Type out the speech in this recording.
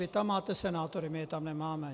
Vy tam máte senátory, my je tam nemáme.